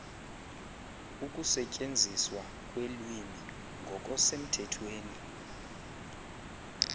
ukusetyenziswa kwelwimi ngokosemthethweni